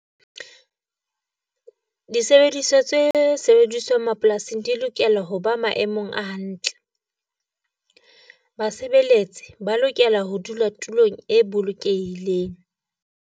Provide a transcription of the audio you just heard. Disebediswa tse sebediswang mapolasing di lokela ho ba maemong a hantle, basebeletsi ba lokela ho dula tulong e bolokehileng.